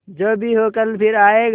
जो भी हो कल फिर आएगा